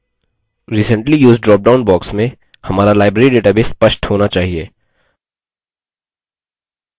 recently used dropdown box में हमारा library database स्पष्ट होना चाहिए